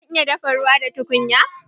Zan iya dafa ruwa da tukunya?